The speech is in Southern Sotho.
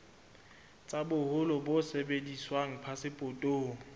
tsa boholo bo sebediswang phasepotong